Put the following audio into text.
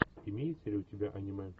имеется ли у тебя аниме